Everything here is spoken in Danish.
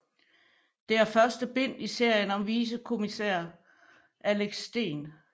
Det er første bind i en serie om vicepolitikommissær Axel Steen